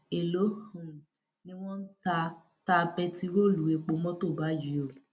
èèló um ni wọn ń ta ta bẹntiróòlù epo mọtò báyìí o